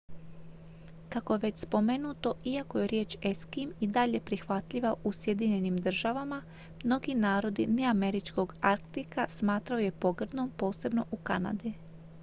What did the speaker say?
"kako je već spomenuto iako je riječ "eskim" i dalje prihvatljiva u sjedinjenim državama mnogi narodi neameričkog arktika smatraju je pogrdnom posebno u kanadi.